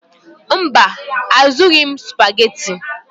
Mba, azụrụghị m Supagetii.